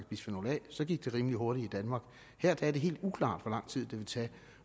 bisfenol a så gik det rimelig hurtigt i danmark her er det helt uklart hvor lang tid det vil tage